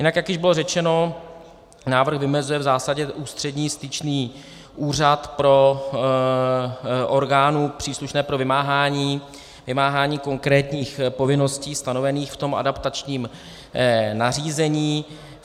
Jinak jak již bylo řečeno, návrh vymezuje v zásadě ústřední styčný úřad pro orgány příslušné pro vymáhání konkrétních povinností stanovených v tom adaptačním nařízení.